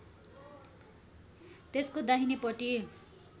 त्यसको दाहिने पटी